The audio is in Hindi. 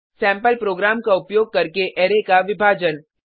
सैम्पल प्रोग्राम का उपयोग करके अरै का विभाजन